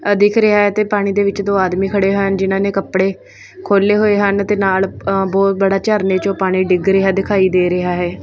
ਆਹ ਦੇਖ ਰਿਹਾ ਹੈ ਤੇ ਪਾਣੀ ਦੇ ਵਿੱਚ ਦੋ ਆਦਮੀ ਖੜੇ ਹਨ ਜਿਨਾਂ ਨੇ ਕੱਪੜੇ ਖੋਲੇ ਹੋਏ ਹਨ ਤੇ ਨਾਲ ਬਹੁਤ ਵੱਡਾ ਝਰਨੇ ਚੋਂ ਪਾਣੀ ਡਿੱਗ ਰਿਹਾ ਦਿਖਾਈ ਦੇ ਰਿਹਾ ਹੈ।